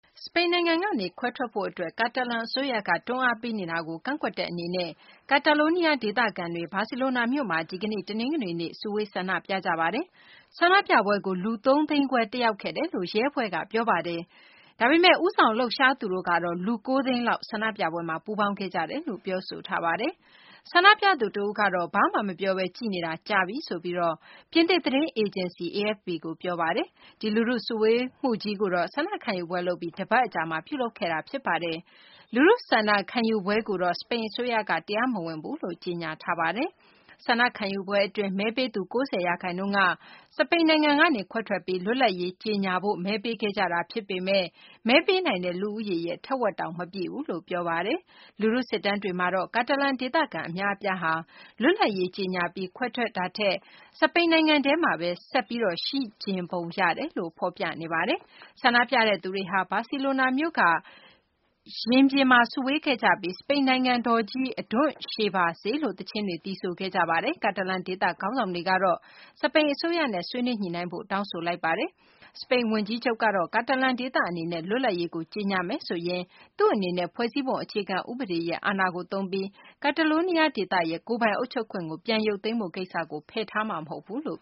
စပိန်နိုင်ငံကနေခွဲထွက်ဖို့အတွက် ကာတာလန်အစိုးရက တွန်းအားပေးနေတာကို ကန့်ကွက်တဲ့အနေနဲ့ Catalonia ဒေသခံတွေဟာ ဘာစီလိုနာမြို့ကမှာ ဒီကနေ့ တနင်္ဂနွေနေ့က စုဝေးဆန္ဒပြခဲ့ကြပါတယ်။ ဆန္ဒပြပွဲကို စီစဉ်သူတွေက လူ ၉ သိန်းပါဝင်ခဲ့တယ်လို့ ဆိုပေမယ့်လည်း ၊ တကယ်တမ်းမှာ လူ ၃ သိန်းခွဲပဲရှိတယ်လို့ စပိန်ရဲတပ်ဖွဲ့က ပြောပါတယ်။ "ကျနော်တို့အနေနဲ့ နှုတ်ဆိတ်နေခဲ့တာ အတော်လေး ကြာသွား ခဲ့တယ်" လို့ ဆန္ဒပြတဲ့သူတဦးက ပြင်သစ်သတင်းအေဂျင်စီကို ပြောပါတယ်။ ဒီလူထုစုဝေးမှုကြီးကိုတော့ ဆန္ဒခံယူပွဲလုပ်ပြီး တပတ်အကြာမှာ ပြုလုပ်ခဲ့တာဖြစ်ပါတယ်။ အဲဒီလူထုဆန္ဒခံယူပွဲကို စပိန်အစိုးရကတော့ တရားမဝင်ဘူးလို့ ကြေညာထားတာဖြစ်ပါတယ်။ ဒီဆန္ဒခံယူပွဲအတွင်း မဲပေးသူ ၉၀ % က စပိန်နိုင်ငံကနေ ခွဲထွက်ပြီး လွတ်လပ်ရေးအဖြစ်ကြေငြာဖို့ မဲပေးခဲ့ကြတာဖြစ်ပေမယ့်၊ မဲပေးနိုင်တဲ့သူဦးရေရဲ့ ထက်ဝက်တောင် မပြည့်ဘူးလို့ ဆိုပါတယ်။ လူထုစစ်တမ်းတွေမှာတော့ ကာတာလန်ဒေသခံအများအပြားဟာ လွတ်လပ်ရေးကြေညာပြီးခွဲထွက်တာထက် စပိန်နိုင်ငံထဲမှာပဲ ဆက်ပြီးတော့ ရှိချင်ပုံရတယ်လို့ ဖော်ပြနေပါတယ်။ ဆန္ဒပြတဲ့သူတွေဟာ ဘာစီလိုနာမြို့က Urquinaona ရင်ပြင်မှာ စုဝေးခဲ့ကြပြီး၊ စပိန်နိုင်ငံတော်ကြီးအဓွန့်ရှည်ပါစေလို့ သီချင်းတွေ သီဆိုခဲ့ကြပါတယ်။ ကာတာလန်ဒေသခေါင်းဆောင်တွေကတော့ စပိန်အစိုးရနဲ့ ဆွေးနွေးညှိနှိုင်းဖို့ တောင်းဆိုလိုက်ပါတယ်။ ကာတာလန်ဒေသအနေနဲ့ လွတ်လပ်ရေးကြေညာမယ်ဆိုရင်၊ ဖွဲ့စည်းပုံအခြေခံဥပဒေရဲ့ အာဏာကိုသုံးပြီး Catalonia ဒေသရဲ့ ကိုယ်ပိုင်အုပ်ချုပ်ခွင့်ရုပ်သိမ်းမယ့်နည်းလမ်းကို ပယ်ချသွားမှာမဟုတ်ဘူးလို့